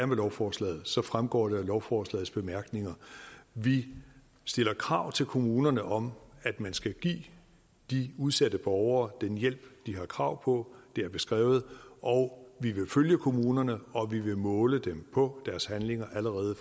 med lovforslaget så fremgår det af lovforslagets bemærkninger vi stiller krav til kommunerne om at man skal give de udsatte borgere den hjælp de har krav på det er beskrevet og vi vil følge kommunerne og vi vil måle dem på deres handlinger allerede